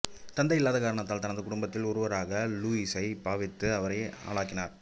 தந்தை இல்லாத காரணத்தால் தனது குடும்பத்தில் ஒருவராகவே லூயிசை பாவித்து அவரை ஆளாக்கினார்